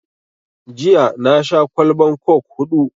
Jiya na sha kwallban coke huɗu